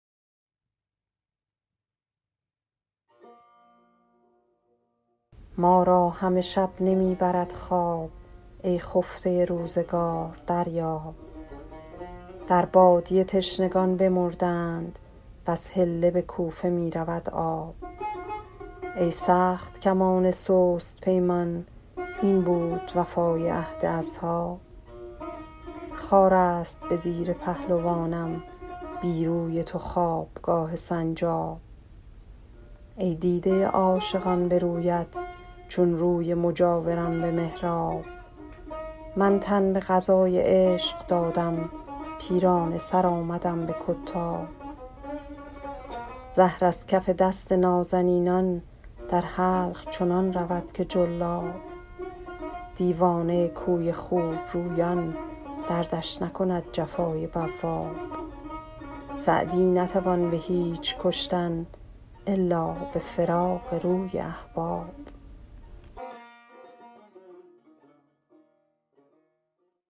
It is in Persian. ما را همه شب نمی برد خواب ای خفته روزگار دریاب در بادیه تشنگان بمردند وز حله به کوفه می رود آب ای سخت کمان سست پیمان این بود وفای عهد اصحاب خار است به زیر پهلوانم بی روی تو خوابگاه سنجاب ای دیده عاشقان به رویت چون روی مجاوران به محراب من تن به قضای عشق دادم پیرانه سر آمدم به کتاب زهر از کف دست نازنینان در حلق چنان رود که جلاب دیوانه کوی خوبرویان دردش نکند جفای بواب سعدی نتوان به هیچ کشتن الا به فراق روی احباب